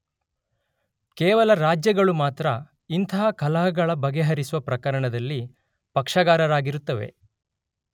ಕೇವಲ ರಾಜ್ಯ ಗಳು ಮಾತ್ರ ಇಂತಹ ಕಲಹಗಳ ಬಗೆಹರಿಸುವ ಪ್ರಕರಣಗಳಲ್ಲಿ ಪಕ್ಷಗಾರರಾಗಿರುತ್ತವೆ.